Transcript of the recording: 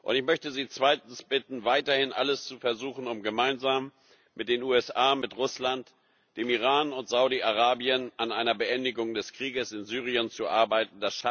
Ich möchte Sie zweitens bitten, weiterhin alles zu versuchen, um gemeinsam mit den USA, mit Russland, dem Iran und Saudi Arabien an einer Beendigung des Krieges in Syrien zu arbeiten.